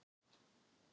Stór augu